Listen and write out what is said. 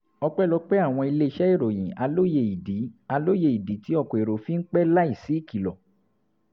ọpẹ́lọpẹ́ àwọn iléeṣẹ́ ìròyìn a lóye ìdí a lóye ìdí tí ọkọ̀ èrò fi ń pẹ́ láìsí ìkìlọ̀